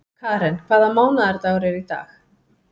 Karen, hvaða mánaðardagur er í dag?